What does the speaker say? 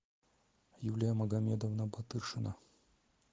юлия магомедовна батыршина